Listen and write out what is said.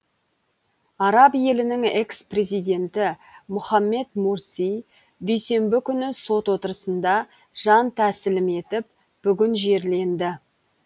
араб елінің экс президенті мұхаммед мурси дүйсенбі күні сот отырысында жан тәсілім етіп бүгін жерленді